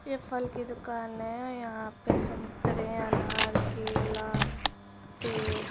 ये फल की दुकान है। यहाँ पर संतरे अनार केला सेब --